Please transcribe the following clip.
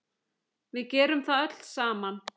Við gerum það öll saman.